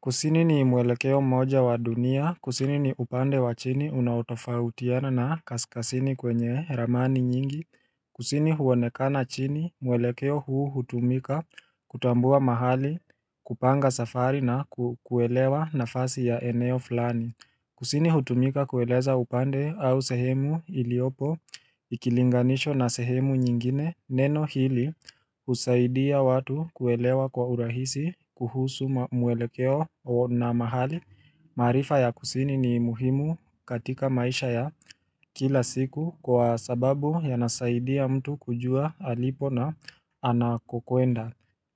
Kusini ni mwelekeo moja wa dunia, kusini ni upande wa chini unautofautiana na kaskazini kwenye ramani nyingi, kusini huonekana chini mwelekeo huu hutumika kutambua mahali kupanga safari na kukuelewa nafasi ya eneo flani Kusini hutumika kueleza upande au sehemu iliopo ikilinganishwa na sehemu nyingine neno hili husaidia watu kuelewa kwa urahisi kuhusu mwelekeo na mahali. Maarifa ya kusini ni muhimu katika maisha ya kila siku kwa sababu yanasaidia mtu kujua alipo na anakokuenda.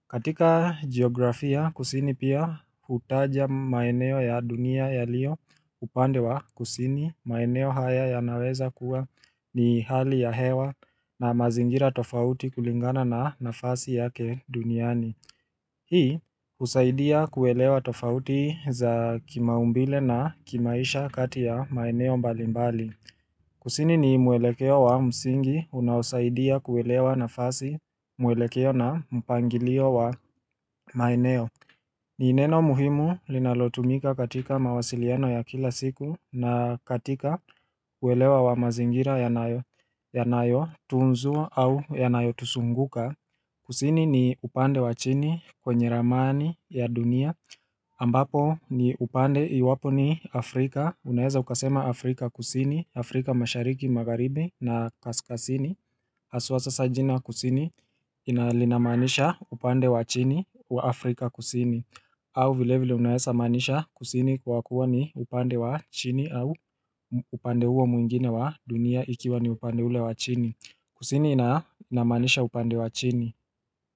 Katika geografia kusini pia hutaja maeneo ya dunia yalio upande wa kusini maeneo haya yanaweza kuwa ni hali ya hewa na mazingira tofauti kulingana na nafasi yake duniani Hii husaidia kuelewa tofauti za kimaumbile na kimaisha kati ya maeneo mbalimbali Kusini ni mwelekeo wa msingi unaosaidia kuelewa nafasi mwelekeo na mpangilio wa maeneo ni neno muhimu linalotumika katika mawasiliano ya kila siku na katika kuelewa wa mazingira yanayo tunzwa au yanayo tuzunguka Kusini ni upande wa chini kwenye ramani ya dunia ambapo ni upande iwapo ni Afrika, unaeza ukasema Afrika kusini, Afrika mashariki magharibi na kaskazini haswa sasa jina kusini ina lina maanisha upande wa chini wa Afrika kusini au vilevile unaeza maanisha kusini kwa kuwa ni upande wa chini au upande huo mwingine wa dunia ikiwa ni upande ule wa chini Kusini ina inamanisha upande wa chini.